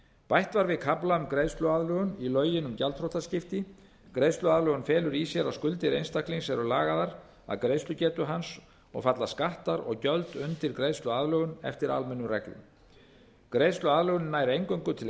bætt var við kafla um greiðsluaðlögun í lögin um gjaldþrotaskipti greiðsluaðlögun felur í sér að skuldir einstaklings eru lagaðar að greiðslugetu hans og falla skattar og gjöld undir greiðsluaðlögun eftir almennum reglum greiðsluaðlögunin nær eingöngu til